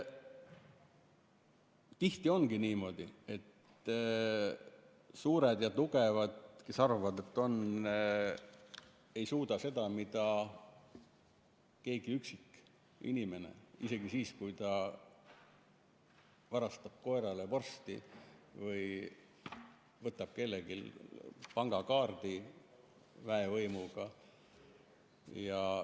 Tihti ongi niimoodi, et need, kes arvavad, et on suured, ei suuda seda, mida keegi üksikinimene, isegi siis, kui ta varastab koerale vorsti või võtab kelleltki pangakaardi väevõimuga.